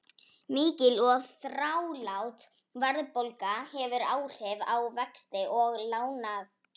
Mikil og þrálát verðbólga hefur áhrif á vexti og lánakjör.